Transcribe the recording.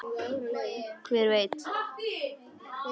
Hver veit!